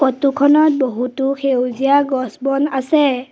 Photo খনত বহুতো সেউজীয়া গছ-বন আছে।